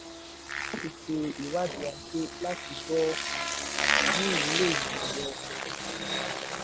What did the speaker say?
a níláti ṣe ìwádìí ajé láti gbọ́ um àǹfààní/ìwúlò ìmọ̀-ẹ̀rọ ohun-ìní.